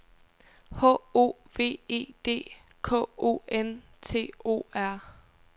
H O V E D K O N T O R